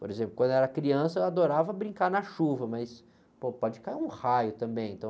Por exemplo, quando eu era criança, eu adorava brincar na chuva, mas, pô, pode cair um raio também, então...